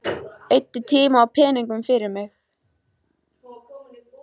Eyddi tíma og peningum fyrir mig.